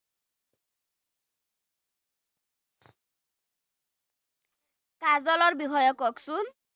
কাজলৰ বিষয়ে কওকচোন